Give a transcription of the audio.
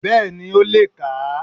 Bẹ́ẹ̀ni ó le è kà á